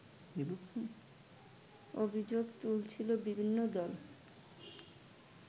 অভিযোগ তুলছিল বিভিন্ন দল